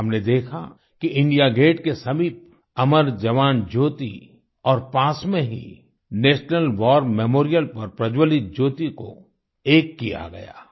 हमने देखा कि इंडिया गेट के समीप अमर जवान ज्योति और पास में ही नेशनल वार मेमोरियल पर प्रज्जवलित ज्योति को एक किया गया